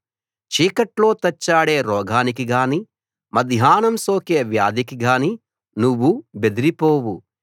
చీకట్లో తచ్చాడే రోగానికిగానీ మధ్యాహ్నం సోకే వ్యాధికి గానీ నువ్వు బెదిరిపోవు